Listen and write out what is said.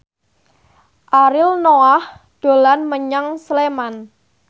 Ariel Noah dolan menyang Sleman